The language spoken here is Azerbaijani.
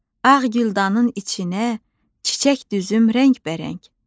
Ağ güldanın içinə çiçək düzüm rəngbərəng.